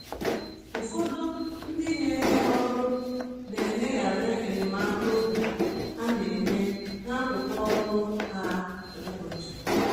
Ụfọdụ ndị nyere ha ọrụ na eleghara enyemaka obi ha na-enye, n’akụkụ ọrụ ha um kwa ụbọchị.